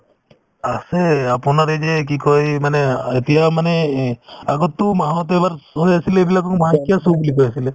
আছে আপোনাৰ এই যে কি কই মানে অ এতিয়া মানে এই আগতো মাহত এবাৰ আছিলে এইবিলাক আকৌ মাহেকীয়া show বুলি কৈ আছিলে